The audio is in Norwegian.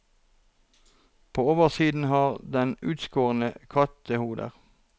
På oversiden har den utskårne kattehoder.